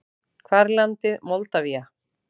Hvar er landið Moldavía?